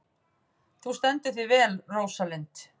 Þú stendur þig vel, Róslinda!